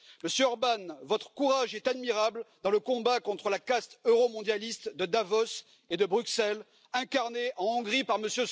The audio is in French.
Monsieur Orbán, votre courage est admirable dans le combat contre la caste euromondialiste de Davos et de Bruxelles, incarnée en Hongrie par M.